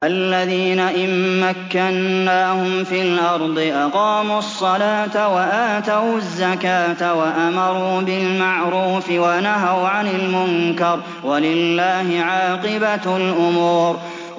الَّذِينَ إِن مَّكَّنَّاهُمْ فِي الْأَرْضِ أَقَامُوا الصَّلَاةَ وَآتَوُا الزَّكَاةَ وَأَمَرُوا بِالْمَعْرُوفِ وَنَهَوْا عَنِ الْمُنكَرِ ۗ وَلِلَّهِ عَاقِبَةُ الْأُمُورِ